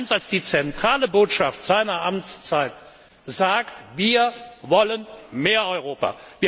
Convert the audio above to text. als zentrale Botschaft seiner Amtszeit sagt Wir wollen mehr Europa.